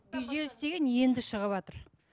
күйзеліс деген енді шығыватыр